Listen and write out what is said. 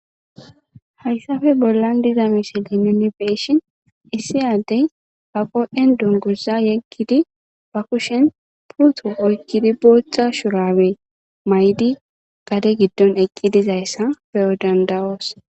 Hayssape bollan diza misilinoni beeshin issi addey ba qo7en dunguza yeggidi ba kushen puuto oykkidi booththa shurabe maydi gade giddon eqqi dizayssa beyo dandawoos.